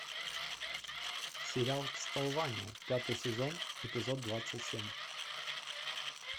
сериал кастлвания пятый сезон эпизод двадцать семь